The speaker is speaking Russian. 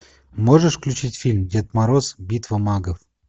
можешь включить фильм дед мороз битва магов